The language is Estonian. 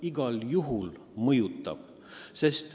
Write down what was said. Igal juhul mõjutab!